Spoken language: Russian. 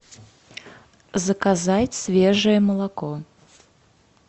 заказать свежее молоко